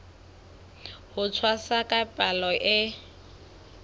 ho tshwasa ka palo e